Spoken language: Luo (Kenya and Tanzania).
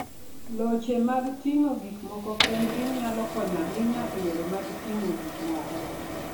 Loche mag ting'o gik moko kendgi, nyalo konyo ahinya e yore mag ting'o gik moko.